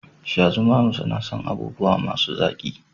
Shazumami suna son abubuwa masu zaƙi